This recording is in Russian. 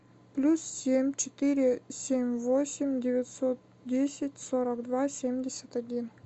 плюс семь четыре семь восемь девятьсот десять сорок два семьдесят один